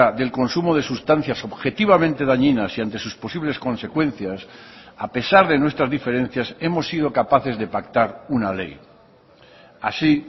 del consumo de sustancias objetivamente dañinas y ante sus posibles consecuencias a pesar de nuestras diferencias hemos sido capaces de pactar una ley así